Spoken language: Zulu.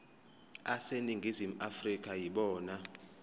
aseningizimu afrika yibona